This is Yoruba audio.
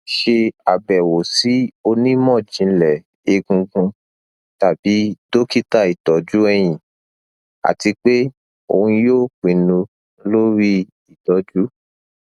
ṣe abẹwo si onimọjinlẹ egungun tabi dokita itọju ẹhin ati pe oun yoo pinnu lori itọju